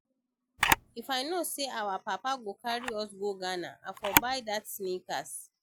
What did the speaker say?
If I know say our papa go carry us go Ghana I for buy dat sneakers